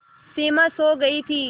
सिमा सो गई थी